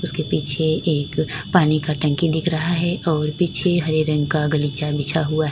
उसके पीछे एक पानी का टंकी दिख रहा है और पीछे हरे रंग का गलीचा बिछा हुआ है।